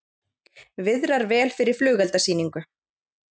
Viðrar vel fyrir flugeldasýningu